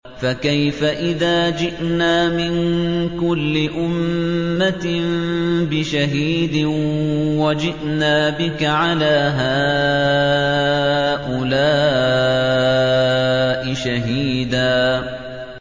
فَكَيْفَ إِذَا جِئْنَا مِن كُلِّ أُمَّةٍ بِشَهِيدٍ وَجِئْنَا بِكَ عَلَىٰ هَٰؤُلَاءِ شَهِيدًا